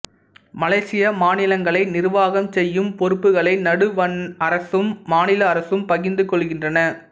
மலேசிய மாநிலங்களை நிர்வாகம் செய்யும் பொறுப்புகளை நடுவண் அரசும் மாநில அரசும் பகிந்து கொள்கின்றன